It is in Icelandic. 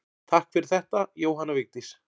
Takk fyrir þetta Jóhanna Vigdís.